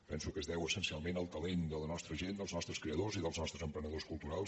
penso que es deu essencialment al talent de la nostra gent dels nostres creadors i dels nostres emprenedors culturals